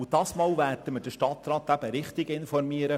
Dieses Mal werden wir den Stadtrat richtig informieren.